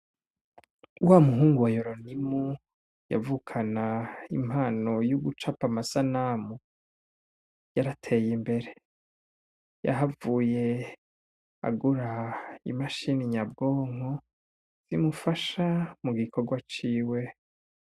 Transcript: Uwa muhungu wa yuronimu yavukana impano y'uguca pa masanamu yarateye imbere yahavuye agura imashini nyabwonko zimufasha mu gikorwa ciwe.